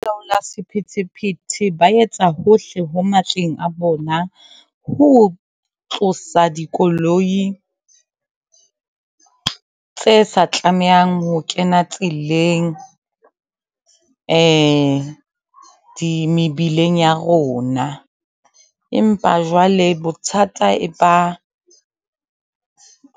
Balaola sephethephethe ba etsa hohle ho matleng a bona, ho tlosa dikoloi tse sa tlamehang ho kena tseleng di mebileng ya rona. Empa jwale bothata e ba